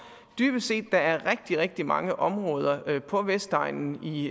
dybest set at der er rigtig rigtig mange områder på vestegnen i